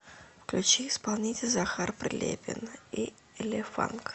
включи исполнителя захар прилепин и элефанк